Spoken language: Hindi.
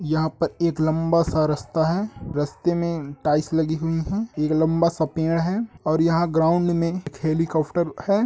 यहाँ पे एक लम्बा सा रास्ता है रस्ते में टाइल्स लगी हुई है एक लम्बा सा पेड़ है और यहाँ ग्राउंड में एक हेलीकाप्टर है।